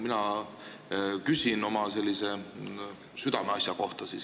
Mina küsin oma sellise südameasja kohta.